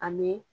Ani